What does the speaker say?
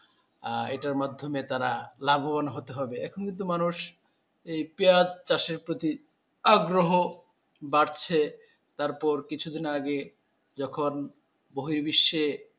আহ এটার মাধ্যমে তারা লাভবান হতে হবে এখন কিন্তু মানুষ এই পেঁয়াজ চাষের প্রতি আগ্রহ বাড়ছে তারপর কিছুদিন আগে যখন বহি বিশ্বে,